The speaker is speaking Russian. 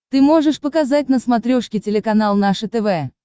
ты можешь показать на смотрешке телеканал наше тв